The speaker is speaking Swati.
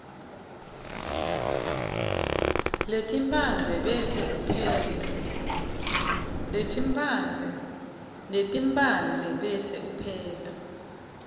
letimphandze bese upheka